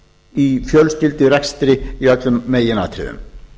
í fjölskyldurekstri í öllum meginatriðum